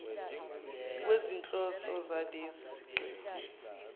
kwezinhloso zalesi siqephu